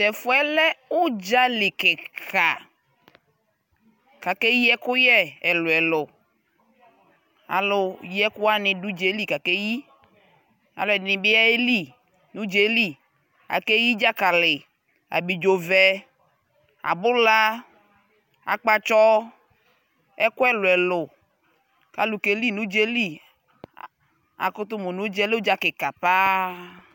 Tɛfu yɛ lɛ udza lι kika kʋ akeyi ɛkʋyɛ ɛlʋɛlʋ Alʋ yiɛkʋwani dʋ udza yɛ lι kʋ akeyi Alʋɔdini bι ayeli nʋ udza yɛ lι Ameyi dzakali, abidzo vɛ, abula, akpatsɔ, ɛkʋ ɛlʋɛlʋ kʋ alʋ keli nʋ udza yɛ lι Akʋtʋ mʋ nʋ udza yɛ lɛ uudza kika paa